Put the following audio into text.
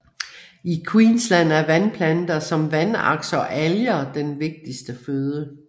I Queensland er vandplanter som vandaks og alger den vigtigste føde